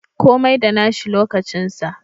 Komai da nashi lokacin sa.